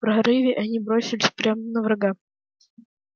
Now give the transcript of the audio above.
прорыве они бросились прямо на врага